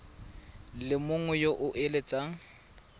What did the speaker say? le mongwe yo o eletsang